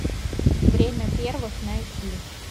время первых найти